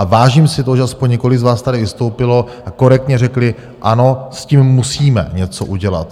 A vážím si toho, že aspoň několik z vás tady vystoupilo a korektně řekli ano, s tím musíme něco udělat.